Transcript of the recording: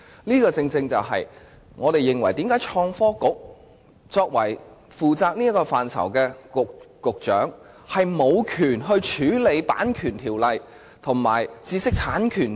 這正正是我們為何質疑負責這範疇的創新及科技局局長竟無權處理《版權條例》及知識產權法。